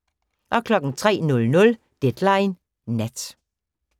03:00: Deadline Nat